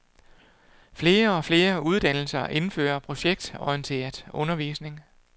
Flere og flere uddannelser indfører projektorienteret undervisning.